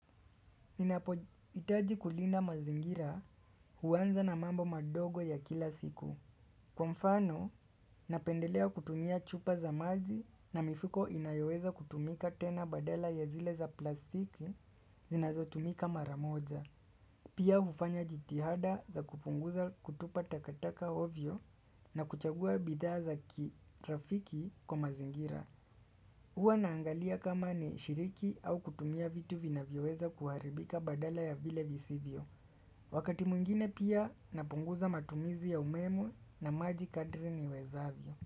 Ninapo hitaji kulinda mazingira huanza na mambo madogo ya kila siku Kwa mfano, napendelea kutumia chupa za maji na mifuko inayoweza kutumika tena badala ya zile za plastiki zinazotumika mara moja Pia hufanya jitihada za kupunguza kutupa takataka ovyo na kuchagua bidhaa kirafiki kwa mazingira huwa naangalia kama ni shiriki au kutumia vitu vina vyoweza kuharibika badala ya vile visivyo. Wakati mwngine pia napunguza matumizi ya umeme na maji kadri niwezavyo.